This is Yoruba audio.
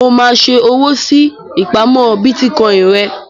Mo máa ṣe owó sí ìpamọ́ Bítíkọì rẹ.